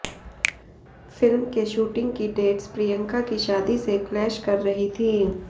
film के shooting की dates Priyanka की शादी से क्लैश कर रही थी